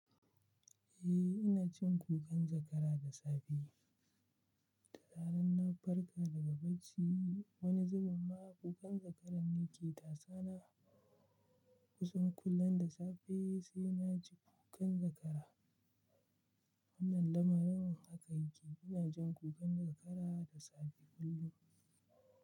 Eh, ina jin kukan zakara da safe. Dan in na farka daga bacci, wani zubin ma kukan zakara ne ke tasana. Kusan kullum da safe sai na ji kukan zakara. Wannan lamarin haka yake. Ina jin kukan zakara da safe kullum.